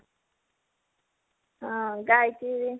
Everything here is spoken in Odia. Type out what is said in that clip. ଆଉ ଗାଈକି